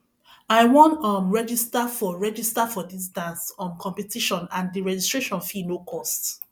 i wan um register for register for dis dance um competition and the registration fee no cost